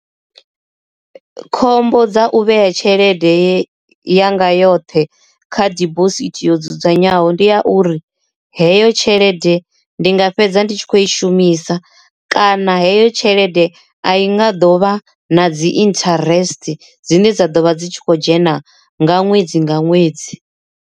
Khombo dza u vhea tshelede yanga yoṱhe kha dibosithi yo dzudzanyeaho ndi ya uri heyo tshelede ndi nga fhedzi fhedza ndi tshi kho i shumisa kana heyo tshelede a i nga ḓo vha na dzi interest dzine dza ḓo vha dzi tshi khou dzhena nga ṅwedzi nga ṅwedzi.